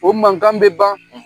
O mankan bɛ ban